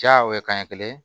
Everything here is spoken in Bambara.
Ja o ye kanɲɛ kelen ye